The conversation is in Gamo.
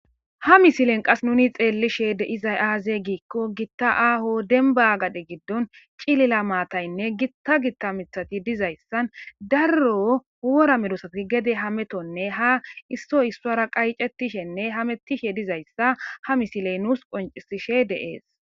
Ha mislen qassi nuuni xeelishe de7izay aazee giikko giththa aaho dembba gade giddon cilila mathayne giththa giththa miththathi dizayssa daro worra medoosathi gede hamethonne ha isssoy issuwaara qayceththishenne hameththishedizayssa ha misle nuus conccissishede de7ees.